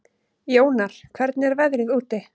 Jónar, hvernig er veðrið úti?